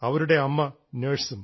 അവരുടെ അമ്മ നഴ്സും